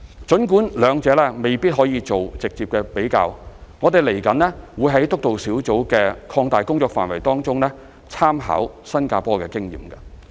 儘管兩者未能直接比較，我們未來會在督導小組的擴大工作範圍中參考新加坡的經驗。